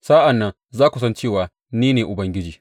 Sa’an nan za ku san cewa ni ne Ubangiji.